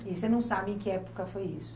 E você não sabe em que época foi isso?